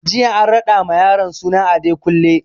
Jiya an raɗa ma yaron suna Adekunle